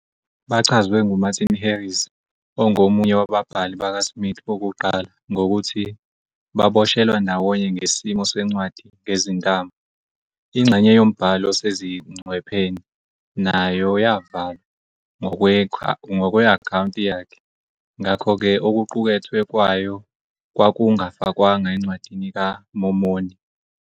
Bachazwe nguMartin Harris, ongomunye wababhali bakaSmith bokuqala, ngokuthi "baboshelwa ndawonye ngesimo sencwadi ngezintambo". Ingxenye yombhalo osezingcwepheni nayo "yavalwa" ngokwe-akhawunti yakhe, ngakho-ke okuqukethwe kwayo kwakungafakwanga eNcwadini kaMormoni.